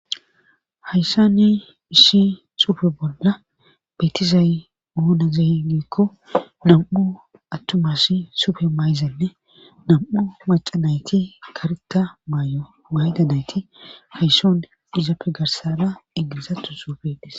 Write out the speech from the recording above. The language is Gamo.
hayssa ni ishshi sufe bolla beetizay mounazeh giikko nam"u attumas sufe mayzanne nam7u macanayti karita maay'o maydadayti haysson izappe garsana eggizatu suufedes.